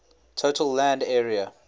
total land area